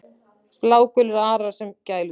Blágulir arar sem gæludýr